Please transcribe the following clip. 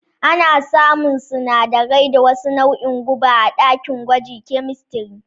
Ana samun sanadarai da wasu nauin guba a ɗakin gwaji kyemistiri